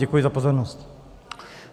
Děkuji za pozornost.